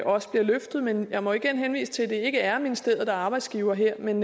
også bliver løftet men jeg må igen henvise til at det ikke er ministeriet arbejdsgiver her men